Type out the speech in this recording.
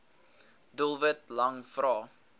doelwit lang vrae